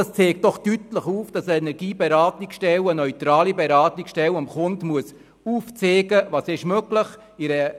Das zeigt doch deutlich auf, dass eine neutrale Energieberatungsstelle einem Kunden aufzeigen muss, was möglich ist.